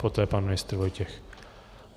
Poté pan ministr Vojtěch.